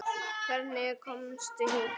Hvernig komstu hingað?